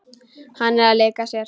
Hann er að leika sér.